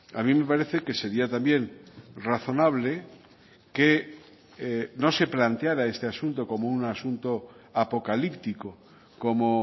a mí me parece que sería también razonable que no se planteara este asunto como un asunto apocalíptico como